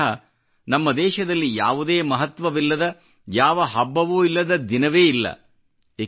ಬಹುಶಃ ನಮ್ಮ ದೇಶದಲ್ಲಿ ಯಾವುದೇ ಮಹತ್ವವಿಲ್ಲದ ಯಾವ ಹಬ್ಬವೂ ಇಲ್ಲದ ದಿನವೇ ಇಲ್ಲ